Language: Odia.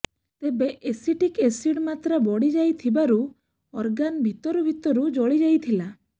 ତେବେ ଏସିଟିକ୍ ଏସିଡ୍ର ମାତ୍ରା ବଢିଯାଇଥିବାରୁ ଅର୍ଗାନ ଭିତରୁ ଭିତରୁ ଜଳିଯାଇଥିଲା